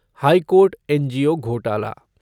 high court NGO घोटाला